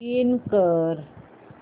login कर